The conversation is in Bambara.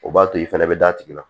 O b'a to i fana bɛ d'a tigi la